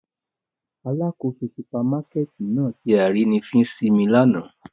Alakoso supamakẹti nạa ṣe arínifín si mi làná.